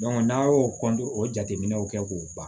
n'a y'o o jateminɛw kɛ k'o ban